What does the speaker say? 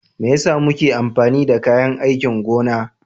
Me yasa muke amfani da kayan aikin gona?